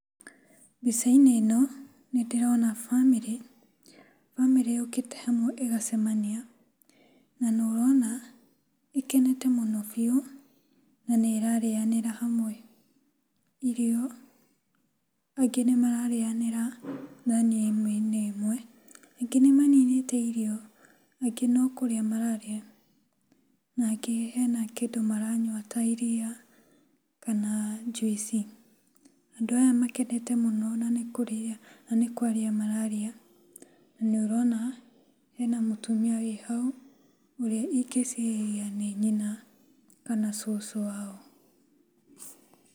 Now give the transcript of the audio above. Mbica-inĩ ĩno nĩ ndĩrona bamĩrĩ. Bamĩrĩ yũkĩte hamwe ĩgacemania, na nĩ ũrona ĩkenete mũno biũ na nĩ ĩrarĩanĩra hamwe irio, angĩ nĩ mararĩanĩra thani ĩmwe-inĩ ĩmwe, angĩ nĩ maninĩte irio, angĩ no kũrĩa mararia na angĩ hena kĩndũ maranyua ta iria kana juice . Andũ aya makenete mũno na nĩkwaria mararia, na nĩ ũrona hena mũtumia wĩ hau ũrĩa ingĩciria nĩ nyina kana cũcũ wao.